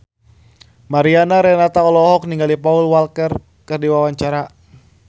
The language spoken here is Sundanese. Mariana Renata olohok ningali Paul Walker keur diwawancara